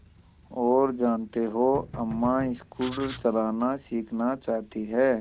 और जानते हो अम्मा स्कूटर चलाना सीखना चाहती हैं